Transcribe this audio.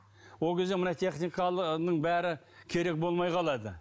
ол кезде мына бәрі керек болмай қалады